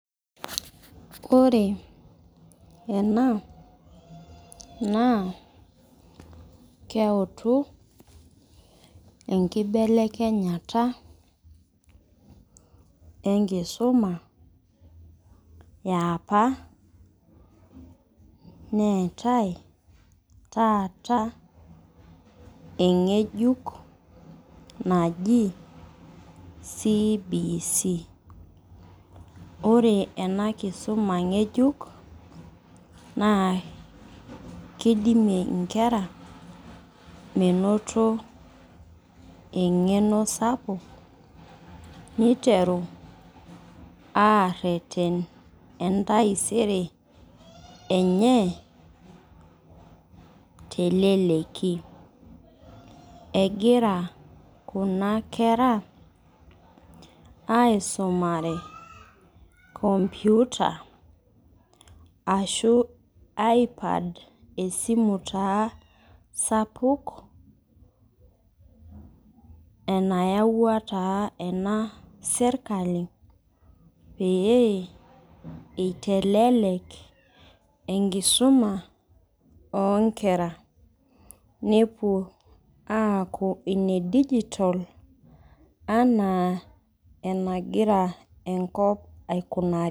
Ore ena naa keutu enkibelekenyata enkisuma eapa ,neetae taata engejuk naji CBC.Ore ena kisuma ngejuko naa kidimie nkera menoto engeno sapuk niteru areten entaisere enye teleleki. Egira Kuna kera aisumare komputa ashu aipad esimu taa sapuk enayauwa taa ena sirkali pee eitelelek enkisuma onkera ,nepuo aaku inedigital enaa enagira enkop aikunari.